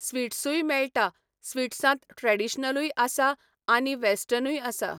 स्वीट्सूय मेळटा स्वीट्सांत ट्रेडिशनलूय आसा आनी वॅस्टर्नूय आसा.